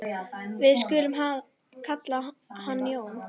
Við skulum kalla hann Jón.